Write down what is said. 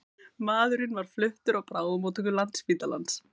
Maðurinn var fluttur á bráðamóttöku Landspítalans